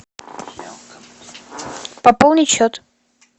пополнить счет